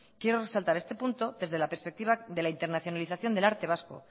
quiero resaltar este punto desde la perspectiva de la internacionalización del arte vasco